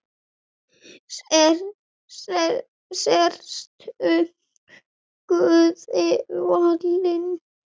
Sértu guði falin.